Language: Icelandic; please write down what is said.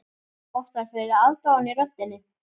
Það vottar fyrir aðdáun í röddinni.